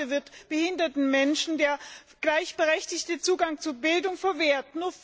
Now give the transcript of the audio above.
Bis heute wird behinderten Menschen der gleichberechtigte Zugang zu Bildung verwehrt.